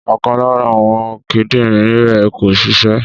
Ọ̀kan lára àwọn kídìrín rẹ̀ kò ṣiṣẹ́.